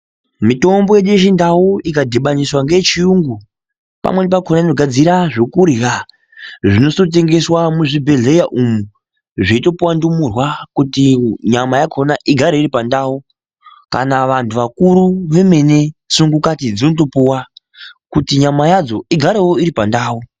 Mitombo yedu yechindau ikadhibaniswa ngeyechiyungu pamweni pakona inogadzira zvekurya zvizototengeswa muchibhedhleya umu zveitopuwa ndumurwa kuti nyama yakhona igare iri pandawu kana vantu vakuru vemene sungulati dzinotopuwa kuti nyama yadzo igare iri pandau.